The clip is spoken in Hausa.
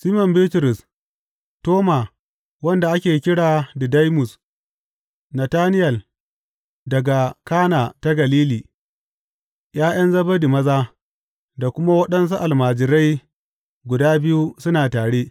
Siman Bitrus, Toma wanda ake kira Didaimus, Natanayel daga Kana ta Galili, ’ya’yan Zebedi maza, da kuma waɗansu almajirai guda biyu suna tare.